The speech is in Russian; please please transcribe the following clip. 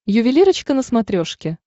ювелирочка на смотрешке